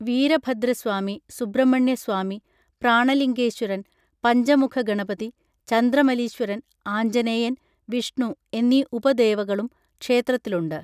വീരഭദ്രസ്വാമി സുബ്രഹ്മണ്യ സ്വാമി പ്രാണലിംഗേശ്വരൻ പഞ്ചമുഖഗണപതി ചന്ദ്രമലീശ്വരൻ ആഞ്ജനേയൻ വിഷ്ണു എന്നീ ഉപദേവകളും ക്ഷേത്രത്തിലുണ്ട്